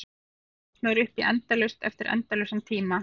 Þannig kemst maður upp í endalaust eftir endalausan tíma.